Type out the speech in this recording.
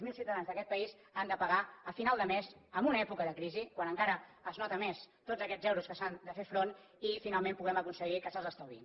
zero ciutadans d’aquest país han de pagar a final de mes en una època de crisi quan encara es noten més tots aquests euros a què s’ha de fer front i finalment puguem aconseguir que se’ls estalviïn